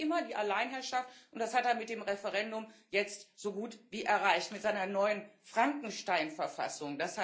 Sein Ziel war immer die Alleinherrschaft, und das hat er mit dem Referendum jetzt so gut wie erreicht mit seiner neuen Frankenstein Verfassung.